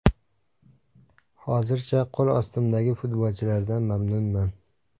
Hozircha, qo‘l ostimdagi futbolchilardan mamnunman.